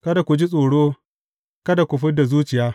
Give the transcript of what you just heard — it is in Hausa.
Kada ku ji tsoro, kada ku fid da zuciya.